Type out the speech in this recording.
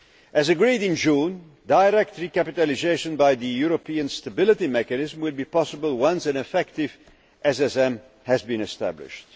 As agreed in June, direct recapitalisation by the European Stability Mechanism will be possible once an effective SSM has been established.